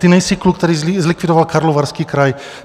Ty nejsi kluk, který zlikvidoval Karlovarský kraj.